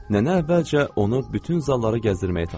Nənə əvvəlcə onu bütün zallara gəzdirməyə tapşırdı.